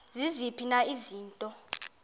ziziphi na izinto